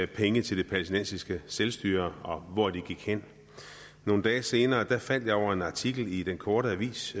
penge til det palæstinensiske selvstyre og hvor de gik hen nogle dage senere faldt jeg over en artikel i den korte avis